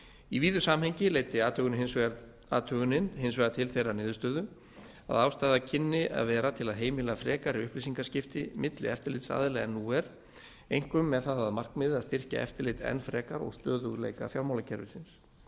í víðu samhengi leiddi athugunin hins vegar til þeirrar niðurstöðu að ástæða kynni að vera til að heimila frekari upplýsingaskipti milli eftirlitsaðila en nú er einkum með það að markmiði að styrkja eftirlit enn frekar og stöðugleika fjármálakerfisins